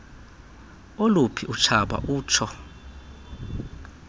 oluphi utshaba utsho